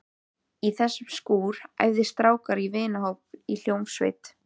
Í þessum skúr æfðu strákar úr vinahópnum í hljómsveit.